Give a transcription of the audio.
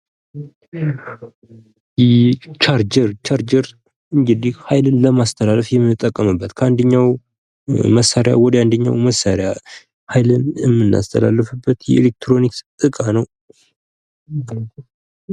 ቻርጀር ። ቻርጀር እንግዲህ ሀይልን ለማስተላለፍ የምንጠቀምበት ከአንደኛው መሳሪያ ወደ አንደኛው መሳሪያ ሀይልን የምናስተላለፍበት የኤሌትሮኒክስ እቃ ነው ።